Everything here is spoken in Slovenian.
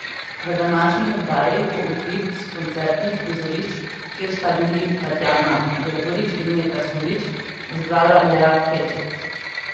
V današnji oddaji bo utrip s koncertnih prizorišč, kjer sta bili Tatjana Gregorič in Metka Sulič, zbrala lea Hedžet.